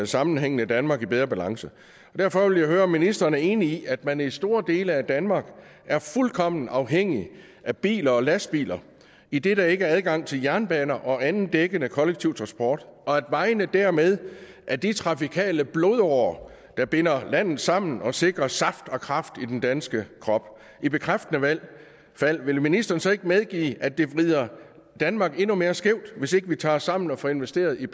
sammenhængende danmark i bedre balance derfor ville jeg høre om ministeren er enig i at man i store dele af danmark er fuldkommen afhængig af biler og lastbiler idet der ikke er adgang til jernbaner og anden dækkende kollektiv transport og at vejene dermed er de trafikale blodårer der binder landet sammen og sikrer saft og kraft i den danske krop i bekræftende fald vil ministeren så ikke medgive at det vrider danmark endnu mere skævt hvis ikke vi tager os sammen og får investeret i